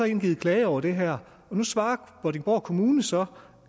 indgivet klage over det her og nu svarer vordingborg kommune så